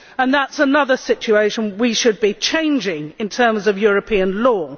That is another situation we should be changing in terms of European law.